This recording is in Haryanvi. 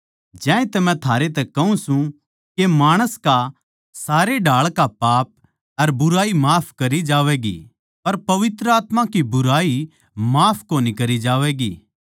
ज्यांतै मै थारै तै कहूँ सूं के माणस का सारे ढाळ का पाप अर बुराई माफ करी जावैगी पर पवित्र आत्मा की बुराई माफ कोनी करी जावैगी